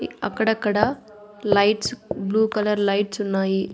అక్కడక్కడ lights blue colour లైట్సున్నాయి .